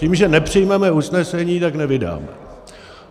Tím, že nepřijmeme usnesení, tak nevydáme.